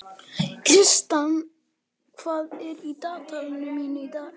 Kristian, hvað er í dagatalinu mínu í dag?